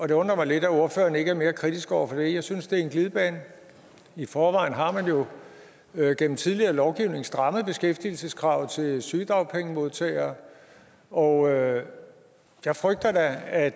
det undrer mig lidt at ordføreren ikke er mere kritisk over for det jeg synes det er en glidebane i forvejen har man jo jo gennem tidligere lovgivning strammet beskæftigelseskravet til sygedagpengemodtagere og jeg jeg frygter da at